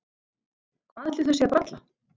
Hvað ætli þau séu að bralla?